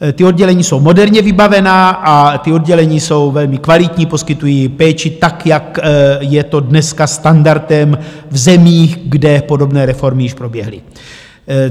Ta oddělení jsou moderně vybavená a ta oddělení jsou velmi kvalitní, poskytují péči tak, jak je to dneska standardem v zemích, kde podobné reformy již proběhly.